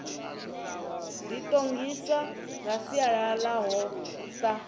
ḓiṱongisa nga sialala ḽaho sa